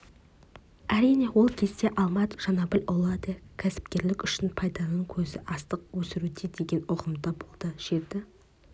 әрине ол кезде алмат жанәбілұлы да кәсіпкерлік үшін пайданың көзі астық өсіруде деген ұғымда болды жерді